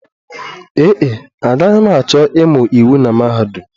Ee e, agaghị m achọ ịmụ iwu na mahadum